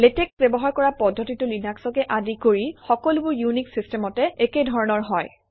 LaTeX ব্যবহাৰ কৰা পদ্ধতিটো লিনাক্সকে আদি কৰি সকলোবোৰ ইউনিক্স চিষ্টেমতে একে ধৰণৰ হয়